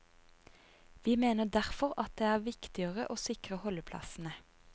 Vi mener derfor at det er viktigere å sikre holdeplassene.